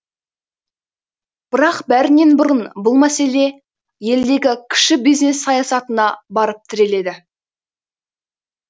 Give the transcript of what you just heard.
бірақ бәрінен бұрын бұл мәселе елдегі кіші бизнес саясатына барып тіреледі